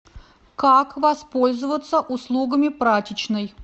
как воспользоваться услугами прачечной